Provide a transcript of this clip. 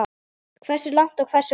Hversu langt og hversu hratt.